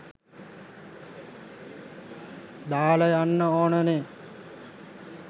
දාලා යන්න ඕනනේ